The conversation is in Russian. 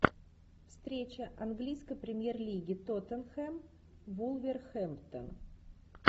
встреча английской премьер лиги тоттенхэм вулверхэмптон